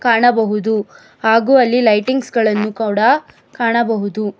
ಕಾಣಬಹುದು ಹಾಗೂ ಅಲ್ಲಿ ಲೈಟಿಂಗ್ಸ್ ಗಳನ್ನು ಕೂಡ ಕಾಣಬಹುದು.